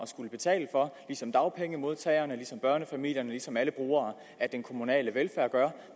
skulle betale for ligesom dagpengemodtagerne ligesom børnefamilierne ligesom alle brugere af den kommunale velfærd gør